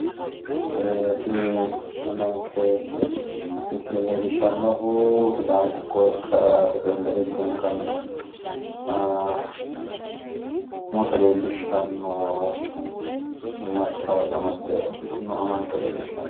Ee tini amanke misile Leellishshannohu sidaamu qoqqowo ikkara rifirendeme tunganna umose leellishshanno mattaawoqa amadde uurritino amanke leellishshanno.